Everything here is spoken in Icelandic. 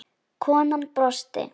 Konan brosti.